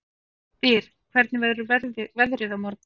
Styr, hvernig verður veðrið á morgun?